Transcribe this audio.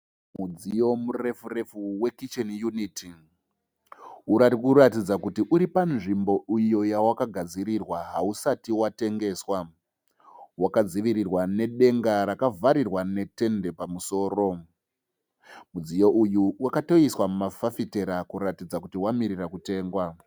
Mudziyo murefu refu wekicheni yuniti. Uri kuratidza kuti uri panzvimbo iyo yawakagadzirirwa hausati watengeswa. Wakadzivirirwa nedenga rakavharirwa netende pamusoro. Mudziyo uyu wakatoiswa mafafitera kuratidza kuti wamirira kutengwa.